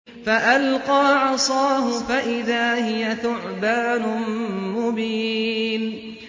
فَأَلْقَىٰ عَصَاهُ فَإِذَا هِيَ ثُعْبَانٌ مُّبِينٌ